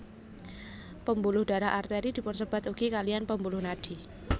Pembuluh darah Arteri dipunsebat ugi kaliyan pembuluh nadi